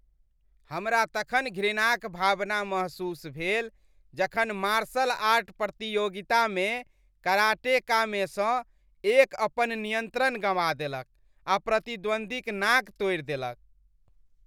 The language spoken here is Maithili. हमरा तखन घृणाक भावना महसूस भेल जखन मार्शल आर्ट प्रतियोगितामे कराटेकामेसँ एक अपन नियंत्रण गँवा देलक आ प्रतिद्वंद्वीक नाक तोड़ि देलक।